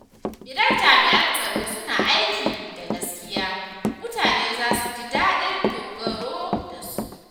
Idan jami’an tsaro suna aiki da gaskiya, mutane za su ji daɗin dogaro da su.